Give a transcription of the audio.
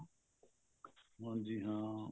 ਹਾਂਜੀ ਹਾਂ